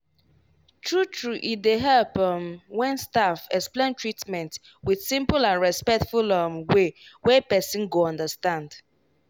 true true e dey help um when staff explain treatment with simple and respectful um way wey person go understand.